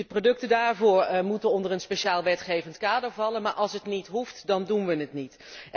Die producten daarvoor moeten onder een speciaal wetgevend kader vallen, maar als het niet hoeft dan doen we het niet.